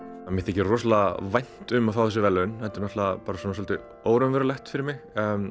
mér þykir rosalega vænt um að fá þessi verðlaun þetta er náttúrulega svolítið óraunverulegt fyrir mig